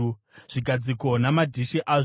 zvigadziko namadhishi azvo;